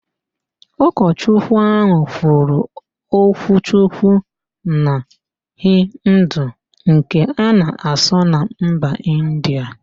Ụkochukwu ahụ kwuru okwuchukwu na Hindu nke a na-asụ na mba Indịa